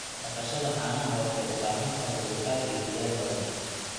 Dhaqashada caanaha waxay u baahan tahay dulqaad iyo dadaal badan.